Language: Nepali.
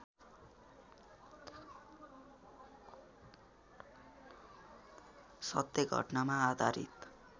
सत्य घटनामा आधारित